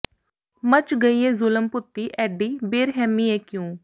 ਮੱਚ ਗਈ ਏ ਜ਼ੁਲਮ ਭੂਤੀ ਐਡੀ ਬੇਰਹਿਮੀ ਏ ਕਿਉਂ